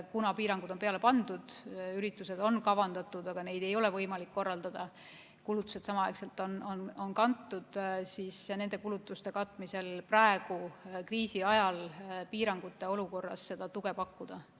Kuna piirangud on peale pandud, üritused on kavandatud, aga neid ei ole võimalik korraldada, samas kulutused on kantud, siis nende kulutuste katmisel praegu, kriisi ajal, piirangute olukorras tuge pakkuda.